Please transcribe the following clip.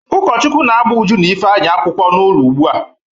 Ụkọchukwu na-agba Uju na Ifeanyị akwụkwọ n'ụlọ ugbua.